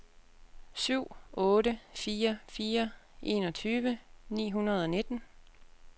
syv otte fire fire enogtyve ni hundrede og nitten